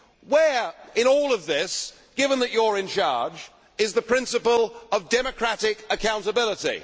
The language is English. Where in all of this, given that you are in charge, is the principle of democratic accountability?